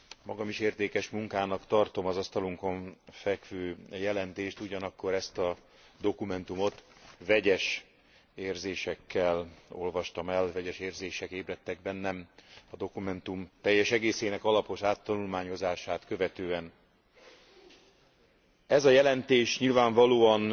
Magam is értékes munkának tartom az asztalunkon fekvő jelentést, ugyanakkor ezt a dokumentumot vegyes érzésekkel olvastam el, vegyes érzések ébredtek bennem a dokumentum teljes egészének alapos áttanulmányozását követően. Ez a jelentés nyilvánvalóan